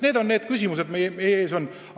Need on küsimused, mis meie ees on.